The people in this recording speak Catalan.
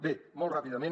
bé molt ràpidament